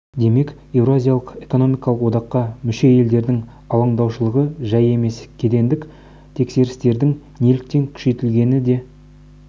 демек еуразиялық экономикалық одаққа мүше елдердің алаңдаушылығы жай емес кедендік тексерістердің неліктен күшейтілгені де